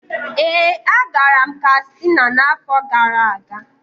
Ee, agara m Katsina n'afọ gara aga.